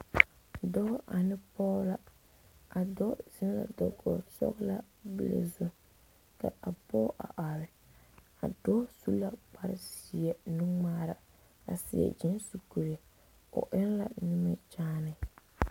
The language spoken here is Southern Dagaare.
Dɔɔ ane pɔɔ la a dɔɔ zeŋ la dakoge sɔglaa bile zu ka a pɔɔ a are a dɔɔ su la kparezeɛ nungmaara a seɛ gyeese kuree o eŋ la nimikyaane.